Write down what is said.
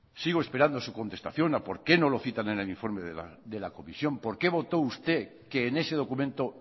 sigo esperando su contestación a por qué no lo citan en el informe de la comisión por qué votó usted que en ese documento